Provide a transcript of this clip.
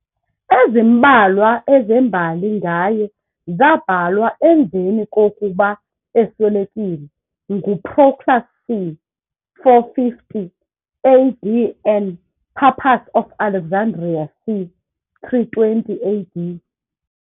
Ezimbalwa ezembali ngaye zabhalwa emveni kukoba eswelekile, nguProclus c. 450 AD and Pappus of Alexandria c. 320 AD.